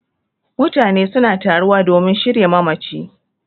Mutane suna taruwa domin shirya mamaci